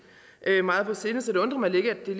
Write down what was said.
meget på sinde så det undrer mig lidt at det